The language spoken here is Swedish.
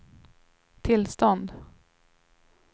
tillstånd